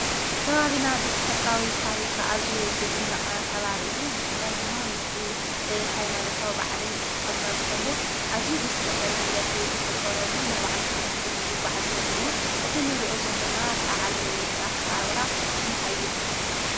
ከባቢና ብተፈጥሮ ታሪኽ ኣዝዩ ዘደንቅን ከባቢ እዩ፡፡ ብፍላይ ድማ ምስቲ ሃይማኖታዊ በዓል ክኽበር ከሎ ኣዝዩ ብዝስሕብ መንገዲ ዝኽበረሉ ናይ ባዕሉ ታሪኽ ሒዙ ዝጓዓዝ አሎ እዩ። እዚ ንሪኦ ዘለና በዓል ኣከባብራ እንታይ ይባሃል?